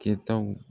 Kɛtaw